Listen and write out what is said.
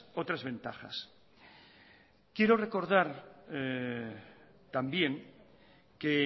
otras ventajas quiero recordar también que